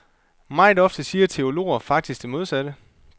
Meget ofte siger teologer faktisk det modsatte.